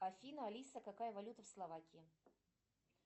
афина алиса какая валюта в словакии